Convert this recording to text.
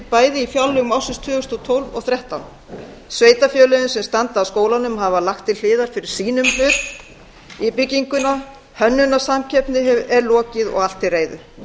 bæði í fjárlögum ársins tvö þúsund og tólf og tvö þúsund og þrettán sveitarfélögin sem standa að skólanum hafa lagt til hliðar fyrir sínum hlut í byggingunni hönnunarsamkeppni er lokið og allt til reiðu